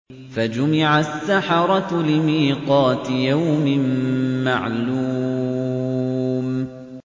فَجُمِعَ السَّحَرَةُ لِمِيقَاتِ يَوْمٍ مَّعْلُومٍ